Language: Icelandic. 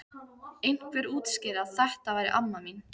Einhver útskýrði að þetta væri amma mín.